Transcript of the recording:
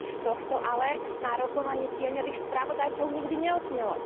Nič z tohto ale na rokovaní tieňových spravodajcov nikdy neodznelo.